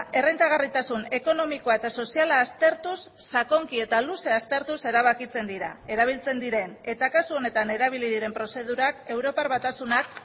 errentagarritasun ekonomikoa eta soziala aztertuz sakonki eta luze aztertuz erabakitzen dira erabiltzen diren eta kasu honetan erabili diren prozedurak europar batasunak